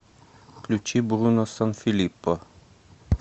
включи бруно санфилиппо